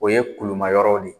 O ye kulumayɔrɔw de ye.